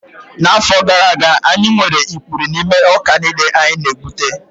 N'afọ gara aga, anyị nwere ikpuri n'ime ọka niile anyị na-egbute